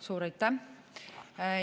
Suur aitäh!